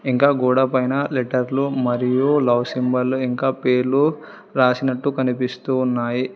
ఇంకా గోడ పైన లెటర్లు మరియు లవ్ సింబళ్ళు ఇంకా పేర్లు రాసినట్టు కనిపిస్తు ఉన్నాయి.